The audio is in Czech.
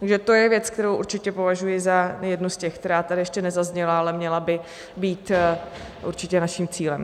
Takže to je věc, kterou určitě považuji za jednu z těch, která tady ještě nezazněla, ale měla by být určitě naším cílem.